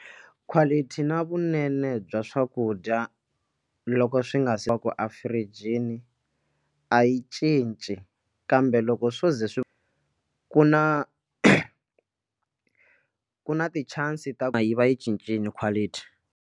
Quality na vunene bya swakudya loko swi nga se va ku e-fridge-ini yi cinci kambe loko swo za swi ku na ku na ti chances to yi va yi cincile quality.